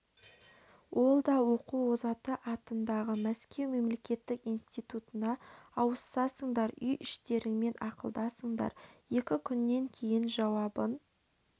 ол да оқу озаты атындағы мәскеу мемлекеттік институтына ауысасыңдар үй-іштеріңмен ақылдасыңдар екі күннен кейін жауабын